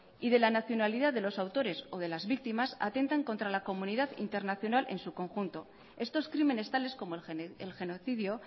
y de la nacionalidad de los autores o de las víctimas atentan contra la comunidad internacional en su conjunto estos crímenes tales como el genocidio